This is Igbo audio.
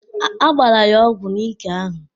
Agbara ya ọgwụ n'ike ahụ.